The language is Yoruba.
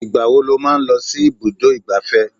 Ìgbà wo lo máa ń lọ sí ibùdó ìgbáfẹ́?